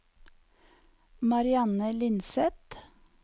Marianne Lindseth